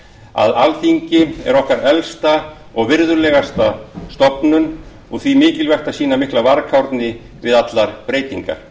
að alþingi er okkar elsta og virðulegasta stofnun og því mikilvægt að sýna mikla varkárni við allar breytingar